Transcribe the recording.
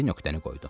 Mari nöqtəni qoydu.